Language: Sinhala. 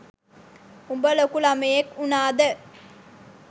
උඹ ලොකු ළමයෙක් උනාද.